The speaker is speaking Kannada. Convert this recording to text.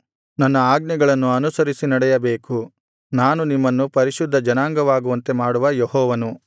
ನನ್ನ ಆಜ್ಞೆಗಳನ್ನು ಅನುಸರಿಸಿ ನಡೆಯಬೇಕು ನಾನು ನಿಮ್ಮನ್ನು ಪರಿಶುದ್ಧಜನವಾಗುವಂತೆ ಮಾಡುವ ಯೆಹೋವನು